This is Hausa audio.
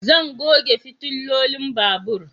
Zan goge fitilolin babur